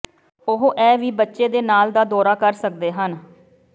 ਉਹ ਇਹ ਵੀ ਬੱਚੇ ਦੇ ਨਾਲ ਦਾ ਦੌਰਾ ਕਰ ਸਕਦੇ ਹਨ